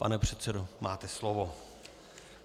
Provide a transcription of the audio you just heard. Pane předsedo, máte slovo.